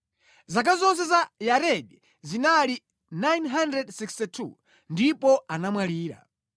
Zaka zonse za Yaredi zinali 962 ndipo anamwalira.